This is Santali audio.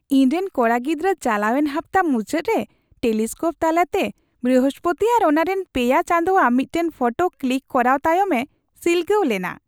ᱤᱧᱨᱮᱱ ᱠᱚᱲᱟ ᱜᱤᱫᱽᱨᱟᱹ ᱪᱟᱞᱟᱣᱮᱱ ᱦᱟᱯᱛᱟ ᱢᱩᱪᱟᱹᱫ ᱨᱮ ᱴᱮᱞᱤᱥᱠᱳᱯ ᱛᱟᱞᱟᱛᱮ ᱵᱨᱤᱦᱚᱥᱯᱚᱛᱤ ᱟᱨ ᱚᱱᱟᱨᱮᱱ ᱯᱮᱭᱟ ᱪᱟᱸᱫᱳᱣᱟᱜ ᱢᱤᱫᱴᱟᱝ ᱯᱷᱳᱴᱳ ᱠᱞᱤᱠ ᱠᱚᱨᱟᱣ ᱛᱟᱭᱚᱢᱮ ᱥᱤᱞᱜᱟᱹᱣ ᱞᱮᱱᱟ ᱾